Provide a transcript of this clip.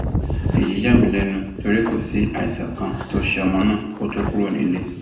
èyí yà mí lẹnu torí kò sí àìsàn kan tó ṣe ọmọ náà kó tóó kúrò nílé